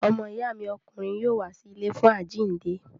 Ọmọ ìyá mi ọkùnrin yóò wá sí ilé fún àjíǹde.